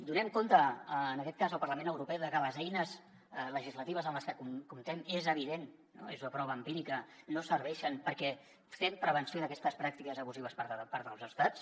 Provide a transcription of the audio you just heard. donem compte en aquest cas al parlament europeu de que les eines legislatives amb les que comptem és evident no és una prova empírica no serveixen perquè fem prevenció d’aquestes pràctiques abusives per part dels estats